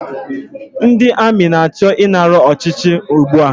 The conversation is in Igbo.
Ndị amị na-achọ ịnara ọchịchị ugbua